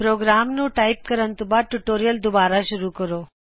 programme ਨੂੰ type ਕਰਨ ਤੋਂ ਬਾਦ ਟਯੂਟੋਰਿਅਲ ਦੁਬਾਰਾ ਸ਼ੂਰੁ ਕਰੋਂ